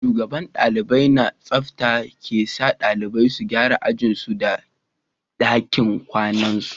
Shugaban dalibai na tsafta ke sa dalibai su gyara ajin su da dakin kwanan su